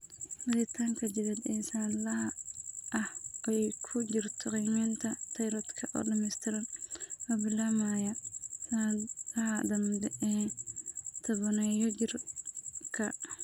Baadhitaanka jireed ee sannadlaha ah, oo ay ku jirto qiimaynta tayroodhka oo dhammaystiran oo bilaabmaya sannadaha dambe ee tobaneeyo-jirka.